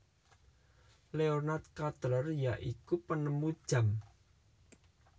Leonard Cutler ya iku penemu jam